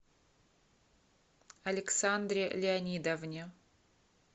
александре леонидовне